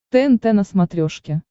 тнт на смотрешке